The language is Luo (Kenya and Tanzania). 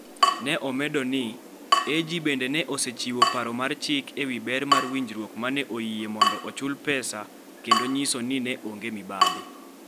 Ne omedo ni, AG bende ne osechiwo paro mar chik e wi ber mar winjruok ma ne oyie mondo ochul pesa kendo nyiso ni ne onge mibadhi.